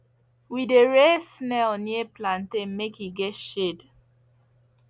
we dey rear snail near plantain make e get shade